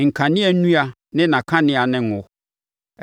nkanea nnua ne nʼakanea ne ngo;